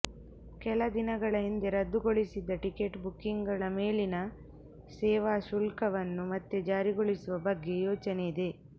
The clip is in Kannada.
ಕೆಲ ದಿನಗಳ ಹಿಂದೆ ರದ್ದುಗೊಳಿಸಿದ್ದ ಟಿಕೆಟ್ ಬುಕಿಂಗ್ ಗಳ ಮೇಲಿನ ಸೇವಾ ಶುಲ್ಕವನ್ನು ಮತ್ತೆ ಜಾರಿಗೊಳಿಸುವ ಬಗ್ಗೆ ಯೋಚನೆ ಇದೆ